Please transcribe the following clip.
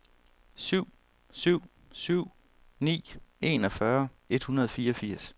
syv syv syv ni enogfyrre et hundrede og fireogfirs